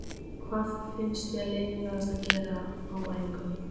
Hvað finnst þér leiðinlegast að gera á æfingum?